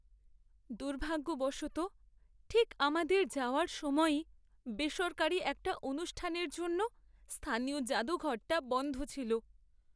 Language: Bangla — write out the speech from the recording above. দুর্ভাগ্যবশত, ঠিক আমাদের যাওয়ার সময়েই বেসরকারি একটা অনুষ্ঠানের জন্য স্থানীয় জাদুঘরটা বন্ধ ছিল।